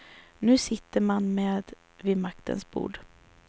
Nu sitter man med vid maktens bord.